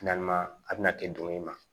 a bɛna ten don i ma